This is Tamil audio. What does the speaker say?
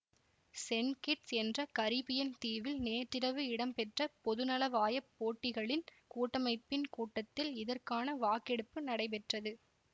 சென் கிட்ஸ் என்ற கரிபியன் தீவில் நேற்றிரவு இடம்பெற்ற பொதுநலவாய போட்டிகளின் கூட்டமைப்பின் கூட்டத்தில் இதற்கான வாக்கெடுப்பு நடைபெற்றது